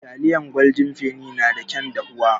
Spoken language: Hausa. Taliyar Goldin feni na da kyan dafuwa.